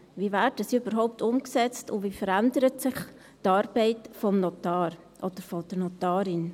Wie werden Sie überhaupt umgesetzt, und wie verändert sich die Arbeit des Notars oder der Notarin?